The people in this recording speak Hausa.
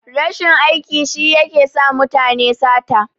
Rashin aikin yi shi yake sa mutane sata.